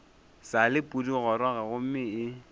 sa le pudigoroga gomme e